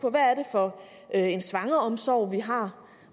for en svangreomsorg vi har